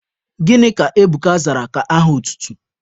Gịnị ka Ebuka zara ka aha otutu?